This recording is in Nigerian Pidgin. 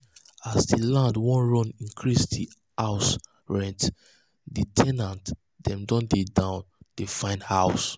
as the land wan run increase the house rent the the ten ant um dem don dey down dey find um house